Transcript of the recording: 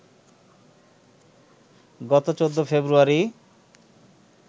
গত ১৪ ফেব্রুয়ারি